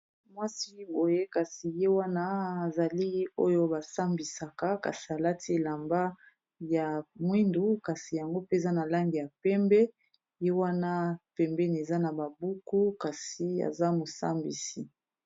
Mwasi boye kasi ye wana azali oyo basambisaka kasi alati elamba ya mwindu kasi yango peza na lange ya pembe ye wana pembeni eza na babuku kasi aza mosambisi.